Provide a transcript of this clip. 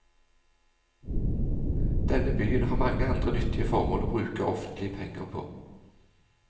Denne byen har mange andre nyttige formål å bruke offentlige penger på.